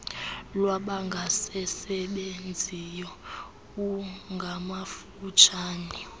lwabangasasebenziyo uif ngamafutshane